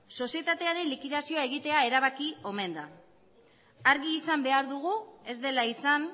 sozietatearen likidazioa egitea erabaki omen da argi izan behar dugu ez dela izan